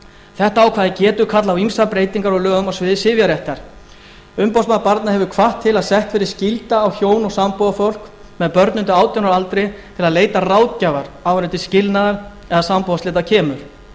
þetta ákvæði getur kallað á ýmsar breytingar á lögum á sviði sifjaréttar umboðsmaður barna hefur hvatt til að sett verði skylda á hjón og sambúðarfólk með börn undir átján ára aldri til að leita ráðgjafar áður en til skilnaðar eða sambúðarslita kemur